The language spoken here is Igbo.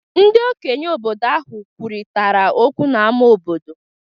Ndị okenye obodo ahụ kwurịtara okwu n’ámá obodo.